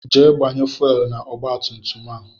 Jee gbanye fuwelu na-ọgba tum tum a!